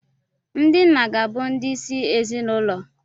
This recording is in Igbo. Ndị nna ga-abụ ndị isi ezinụlọ.